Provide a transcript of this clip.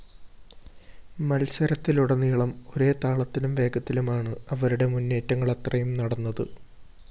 മത്സരത്തിലുടനീളം ഒരേ താളത്തിലും വേഗത്തിലുമാണ്‌ അവരുടെ മുന്നേറ്റങ്ങളത്രയും നടന്നത്‌